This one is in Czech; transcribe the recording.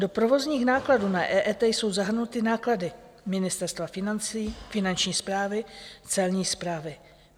Do provozních nákladů na EET jsou zahrnuty náklady Ministerstva financí, Finanční správy, Celní správy.